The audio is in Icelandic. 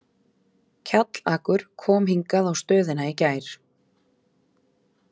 Kjallakur kom hingað á stöðina í gær.